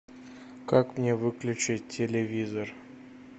как мне выключить телевизор